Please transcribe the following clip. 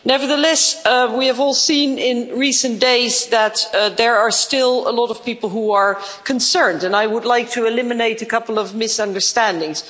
Nevertheless, we have all seen in recent days that there are still a lot of people who are concerned, and I would like to eliminate a couple of misunderstandings.